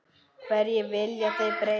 Hverju viljið þið breyta?